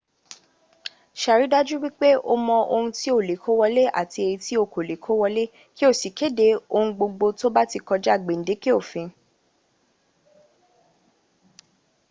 sàrìdájú wípé o mọ ohun tí o le kó wọlé àti èyí tí o kò le kó wọlé kí o sì kéde ohungbogbo tó bá ti kọjá gbèǹdékè òfin